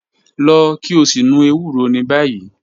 Lọ ki o si nu ewuro ni bayi